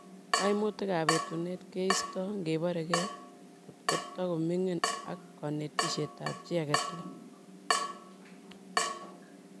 Kaimutikab etunet keistoi ngeborye ko tiko mining'in ak kanetishetab chi age tugul.